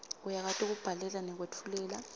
uyakwati kubhalela nekwetfulela